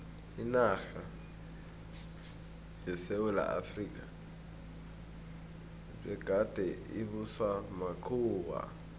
inarha yesewula efrika begade ibuswa makhuwa